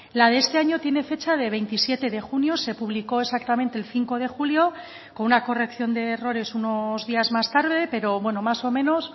la de este año tiene fecha de veintisiete de junio se publicó exactamente el cinco de julio con una corrección de errores unos días más tarde pero bueno más o menos